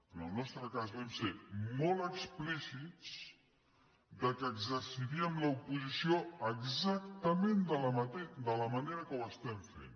en el nostre cas vam ser molt explícits que exerciríem l’oposició exactament de la manera que ho estem fent